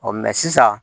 sisan